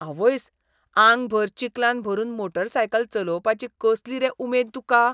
आवयस, आंगभर चिकलान भरून मोटारसायकल चलोवपाची कसली रे उमेद तुका?